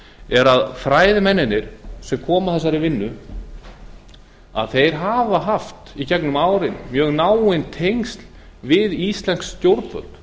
er að fræðimennirnir sem komu að þessari vinnu hafa í gegnum árin haft mjög náin tengsl við íslensk stjórnvöld